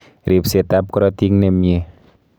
Ripset ap korotik nemie